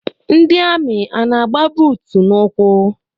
Ndị amị ana-agba buutu n'ụkwụ?